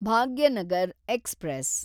Bhagyanagar express